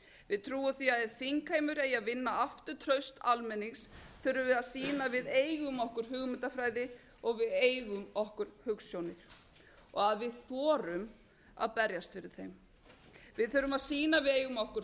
við trúum því að ef þingheimur eigi að vinna aftur traust almennings þurfum við að sýna að við eigum okkur hugmyndafræði og við eigum okkur hugsjónir og að við þorum að berjast fyrir þeim við þurfum að sýna að við eigum okkur